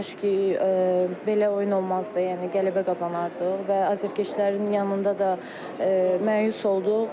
Kaş ki, belə oyun olmazdı, yəni qələbə qazanardıq və azərkeşlərin yanında da məyus olduq.